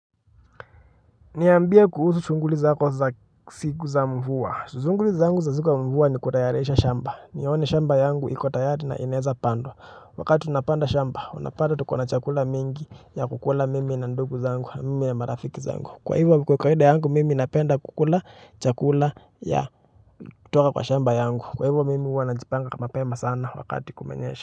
Niambia kuhusu shunghuli zako za siku za mvua shughuli zangu za siku ya mvua ni kutayarisha shamba nione shamba yangu iko tayari na inaeza pandwa wakati unapanda shamba unapata tuko na chakula mingi ya kukula mimi na ndugu zangu mimi na marafiki zangu kwa hivyo kwa kawaida yangu mimi napenda kukula chakula ya kutoka kwa shamba yangu kwa hivyo mimi huwa najipanga mapema sana wakati kumenyesha.